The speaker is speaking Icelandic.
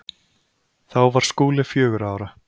Þá var Skúli fjögurra ára.